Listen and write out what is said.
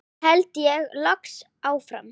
held ég loks áfram.